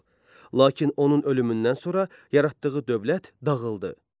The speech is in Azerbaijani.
Lakin onun ölümündən sonra yaratdığı dövlət dağıldı.